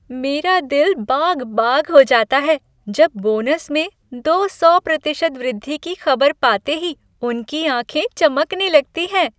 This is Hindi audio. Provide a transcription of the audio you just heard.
मेरा दिल बाग बाग हो जाता है जब बोनस में दो सौ प्रतिशत वृद्धि की खबर पाते ही उनकी आँखें चमकने लगती हैं।